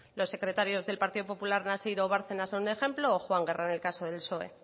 los secretarios del partido popular o bárcenas son un ejemplo o juan guerra en el caso del psoe